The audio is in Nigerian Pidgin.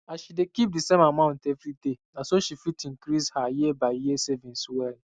as she dey keep d same amount every day na so she fit increase her year by year savings well